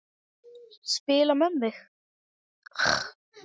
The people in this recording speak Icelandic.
Spila með þig?